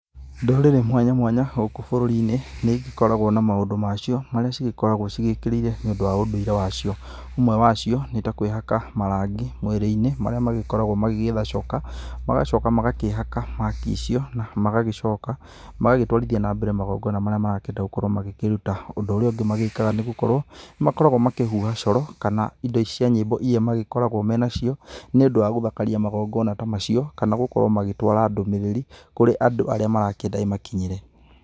Ndũrĩrĩ mwanya mwanya gũkũ bũrũrinĩ, nĩigĩkoragwo na maũndũ macio, marĩa cĩgĩkoragwo cigĩkĩrĩire, nĩũndũ wa ũndũire wacio. Ũmwe wa cio, nĩ ta kwĩhaka marangi mwĩrĩ-inĩ, marĩa magĩkoragwo magĩetha coka, magacoka magakĩhaka rangi icio, na magagĩcoka, magagĩtwarithia na mbere magongona marakĩenda gũgĩkorwo magĩkĩruta. Ũndũ ũrĩa ũngĩ magĩkaga nĩgũkorwo nĩmakoragwo makĩhuha coro kana indo ici cia nyĩmbo iria magĩkoragwo me nacio, nĩũndũ wa gũthakaria magongona ta macio, kana gũkorwo magĩtwara ndũmĩrĩri kũrĩ andũ arĩa marakĩenda ĩmakinyĩre.